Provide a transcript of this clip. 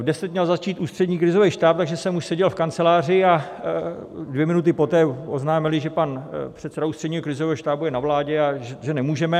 V deset měl začít Ústřední krizový štáb, takže jsem už seděl v kanceláři, a dvě minuty poté oznámili, že pan předseda Ústředního krizového štábu je na vládě a že nemůžeme.